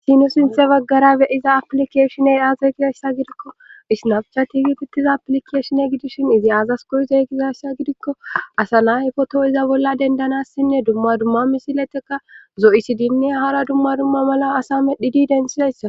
Haysi nu sinthe baggara beyiza aplikeshine aaza gizayssa gidikko isnafcha tiigitittiza aplikeeshine gidishin izi aazas koyzeygizayssa gidikko asa nahy foto iza bolla dendanassinne dumma dumma misileteka zo7isidinne hara dumma dumma mala asa medhdhi di densizayssa